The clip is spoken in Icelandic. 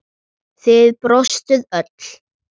Þið brostuð öll.